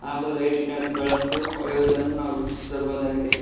ಹಾಗು ಲೈಟಿನ ಬೆಳಕು ಹೊಳೆಯುವುದನ್ನು ನಾವು ವೀಕ್ಷಿಸಬಹುದಾಗಿದೆ.